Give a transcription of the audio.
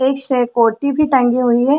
एक सहकोटि भी टंगी हुई है।